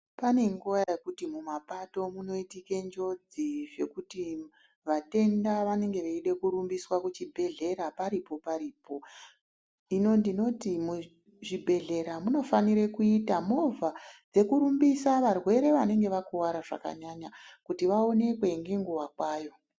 Pane nguva yekuti mumapapato munoitike njodzi zvekuti vatenda vanenge veide kurumbiswa kuchibhehlera paripo-paripo. Hino ndinoti muzvibhehlera munofanire kuita movha dzekurumbisa varwere vanenge vakuvara zvakanyanya kuti vaonekwe ngenguva kwayo.